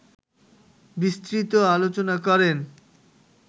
বিস্তৃত আলোচনা করেন